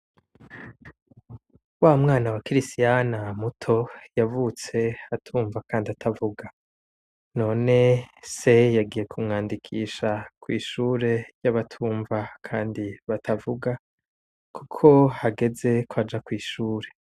Wamwana wa kirisiyana muto yavutse atumva kandi atavuga, none se yagiye kumwandikisha kwishure ry'abatumva kandi batavuga kuko hageze kwaja kw'ishure.